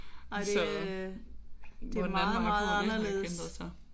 Ej det er øh det er meget meget anderledes